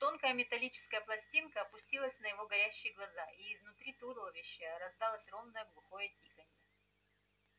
тонкая металлическая пластинка опустилась на его горящие глаза и изнутри туловища раздалось ровное гулкое тиканье